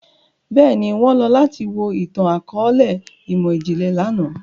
Bẹ́ẹ̀ni, wọn lọ lati wo itan-akọọlẹ imọ-jinlẹ làná.